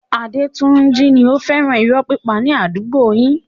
Adetunji ni ó fẹ́ràn irọ́ pípa ní àdúgbò yìí.